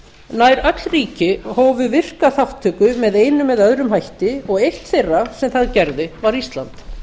nær öll ríki hófu virka þátttöku með einum eða öðrum hætti og eitt þeirra sem það gerði var ísland